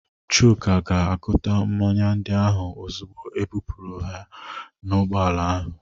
Chuka ga-agụta mmanya ndị ahụ ozugbo ebupụrụ ha n'ụgbọala ahụ